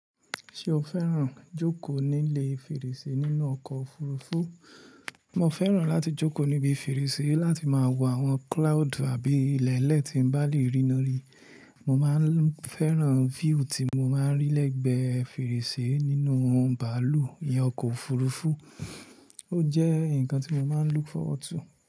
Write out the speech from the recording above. Ṣé o fẹ́ràn jókòó nílé fèrèsé nínú ọkọ̀ òfurufú? Mo fẹ́ràn láti jókòó níbi fèrèsé láti máa wo àwọn cloud àbí ilẹ̀ẹ́lẹ̀ tí mo bá lè ríran ri. Mo máa ń fẹ́ràn view tí mo máa ń rí lẹ́gbẹ̀ẹ́ fèrèsé nínú bàálù iyen ọkọ̀ òfurufú. Ó jẹ́ nǹkan tí mo máa ń look forward to.